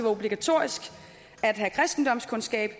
obligatorisk at have kristendomskundskab